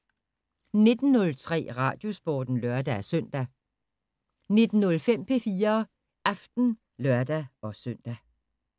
19:03: Radiosporten (lør-søn) 19:05: P4 Aften (lør-søn)